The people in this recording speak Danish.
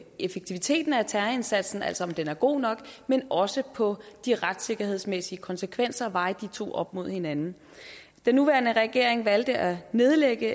effektiviteten af terrorindsatsen altså om den var god nok men også på de retssikkerhedsmæssige konsekvenser og veje de to op mod hinanden den nuværende regering valgte at nedlægge